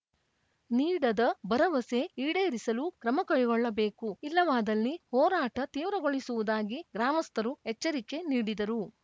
ನೀಡದ ಭರವಸೆ ಈಡೇರಿಸಲು ಕ್ರಮಕೈಗೊಳ್ಳಬೇಕು ಇಲ್ಲವಾದಲ್ಲಿ ಹೋರಾಟ ತೀವ್ರಗೊಳಿಸುವುದಾಗಿ ಗ್ರಾಮಸ್ಥರು ಎಚ್ಚರಿಕೆ ನೀಡಿದರು